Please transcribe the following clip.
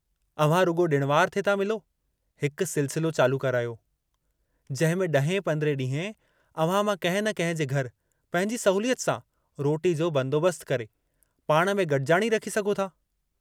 अव्हां रुॻो ॾिण वार ते था मिलो, हिकु सिलसिलो चालू करायो, जहिंमें ॾहें पंद्रहें ॾीहें अव्हां मां कहिं न कहिं जे घर पंहिंजी सहूलियत सां रोटी जो बंदोबस्तु करे, पाण में गॾिजाणी रखी सघो था।